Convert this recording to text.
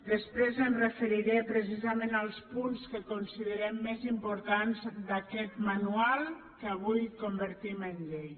després em referiré precisament als punts que considerem més importants d’aquest manual que avui convertim en llei